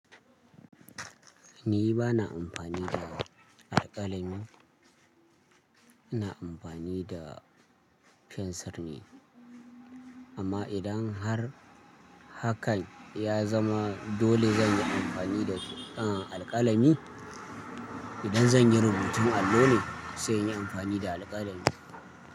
Ni ba na amfani da alƙalami, ina amfani da fensir ne. Amma idan har hakan ya zama dole zan yi amfani da, alƙalami. Idan zan yi rubutun allo ne sai in yi amfani da alƙalami.